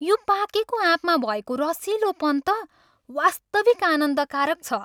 यो पाकेको आँपमा भएको रसिलोपन त वास्तविक आनन्दकारक छ।